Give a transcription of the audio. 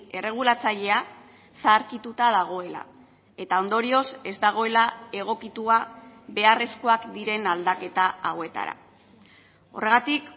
erregulatzailea zaharkituta dagoela eta ondorioz ez dagoela egokitua beharrezkoak diren aldaketa hauetara horregatik